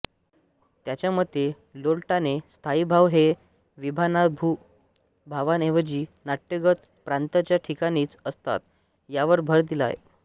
त्याच्यामते लोल्लटाने स्थायीभाव हे विभावानुभावांऐवजी नाट्यगत पात्रांच्या ठिकाणीच असतात यावर भर दिला आहे